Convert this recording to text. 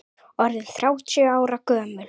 Orðinn þrjátíu ára gömul.